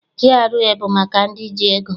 GRA bụ maka ndị ji ego.